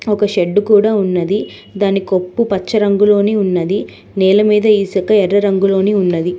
ఒక షెడ్డు కూడా ఉన్నది దాని కొప్పు పచ్చ రంగులోనే ఉన్నది నేల మీద ఇసుక ఎర్ర రంగులోని ఉన్నది.